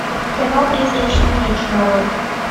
кино призрачный меч нарой